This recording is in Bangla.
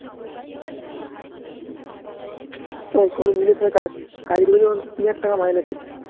তখন কাজ করে যখন তিন হাজার টাকা মাইনে পেতো